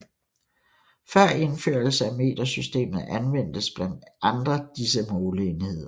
Før indførelse af metersystemet anvendtes blandt andre disse måleenheder